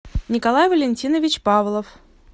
николай валентинович павлов